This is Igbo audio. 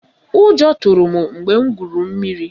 Ụjọ tụrụ m mgbe m gwuru mmiri